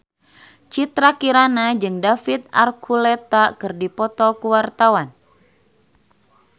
Citra Kirana jeung David Archuletta keur dipoto ku wartawan